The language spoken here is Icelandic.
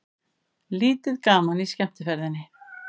Lítið gaman í skemmtiferðinni